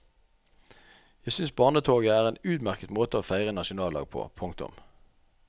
Jeg synes barnetoget er en utmerket måte å feire en nasjonaldag på. punktum